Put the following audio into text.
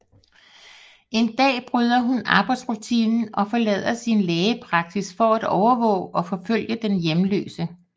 En dag bryder hun arbejdsrutinen og forlader sin lægepraksis for at overvåge og forfølge den hjemløse